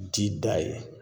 O bi ti da yen